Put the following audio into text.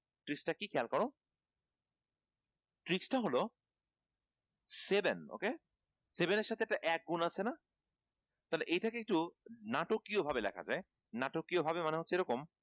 tricks টা কী খেয়াল কর tricks টা হল seven okay এর সাথে একটা এক গুন আছে না? তালে এইটাকে একটু নাটকীয়ভাবে লেখা যায় নাটকীয়ভাবে মানে হচ্ছে এরকম